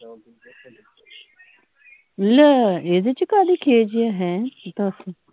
ਲੈ ਇਹਦੇ ਚ ਕਾਹਦੀ ਖਿਝ ਹੈ ਹੈਂ ਦਸ